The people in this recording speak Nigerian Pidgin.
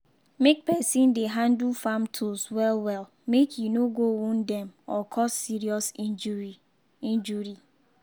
make person dey handle farm tools well-well make e no go wound dem or cause serious injury. injury.